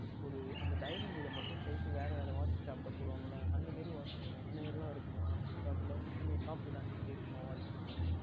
ஓர் அந்த Dining இது மற்றும் கழட்டி வெவ்வேறு Watch Shop யில் போடுவார்கள் அல்ல அந்த மாதிரி எல்லாம் இருக்குமா Flipkart யில் நீ சொன்னையே Shopee அந்த மாதிரி இருக்குமா Watches எல்லாம்